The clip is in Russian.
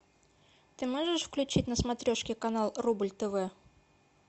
ты можешь включить на смотрешке канал рубль тв